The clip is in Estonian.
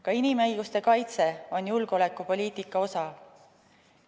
Ka inimõiguste kaitse on julgeolekupoliitika osa.